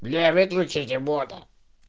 бля выключите бота